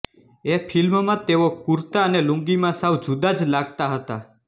એ ફિલ્મમાં તેઓ કુરતા અને લુંગીમાં સાવ જુદા જ લાગતાં હતાં